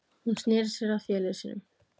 Hún sneri sér að félögum sínum.